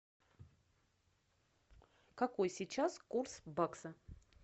какой сейчас курс бакса